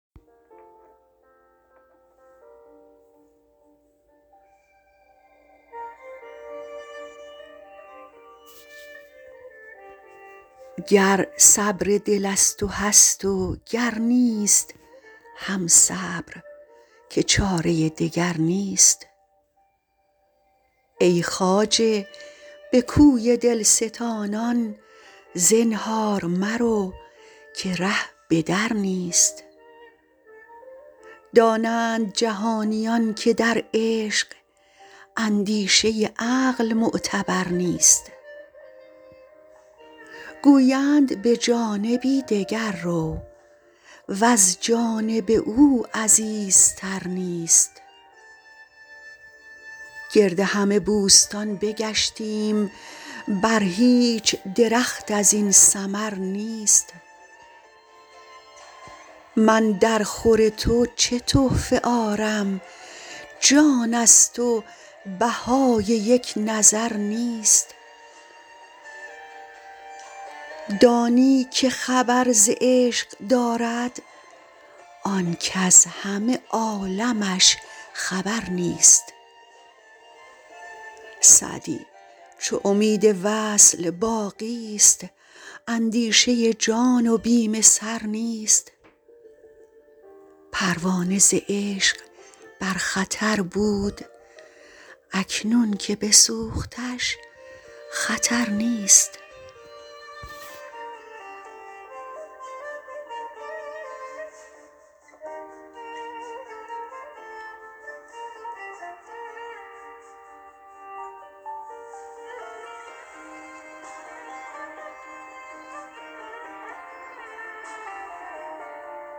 گر صبر دل از تو هست و گر نیست هم صبر که چاره دگر نیست ای خواجه به کوی دل ستانان زنهار مرو که ره به در نیست دانند جهانیان که در عشق اندیشه عقل معتبر نیست گویند به جانبی دگر رو وز جانب او عزیزتر نیست گرد همه بوستان بگشتیم بر هیچ درخت از این ثمر نیست من درخور تو چه تحفه آرم جان ست و بهای یک نظر نیست دانی که خبر ز عشق دارد آن کز همه عالمش خبر نیست سعدی چو امید وصل باقی ست اندیشه جان و بیم سر نیست پروانه ز عشق بر خطر بود اکنون که بسوختش خطر نیست